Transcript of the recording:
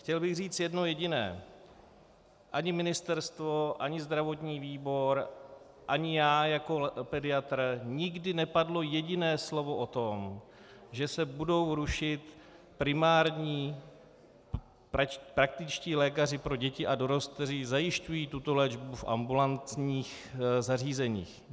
Chtěl bych říct jedno jediné: Ani ministerstvo ani zdravotní výbor ani já jako pediatr, nikdy nepadlo jediné slovo o tom, že se budou rušit primární praktičtí lékaři pro děti a dorost, kteří zajišťují tuto léčbu v ambulantních zařízeních.